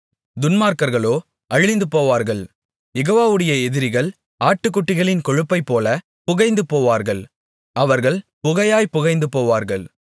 துன்மார்க்கர்களோ அழிந்துபோவார்கள் யெகோவாவுடைய எதிரிகள் ஆட்டுக்குட்டிகளின் கொழுப்பைப்போல புகைந்து போவார்கள் அவர்கள் புகையாய்ப் புகைந்து போவார்கள்